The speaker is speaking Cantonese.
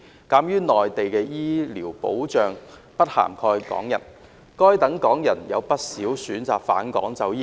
鑒於內地的醫療保障制度不涵蓋港人，該等港人有不少選擇返港就醫。